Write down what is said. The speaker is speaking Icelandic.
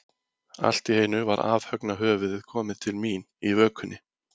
Allt í einu var afhöggna höfuðið komið til mín, í vökunni.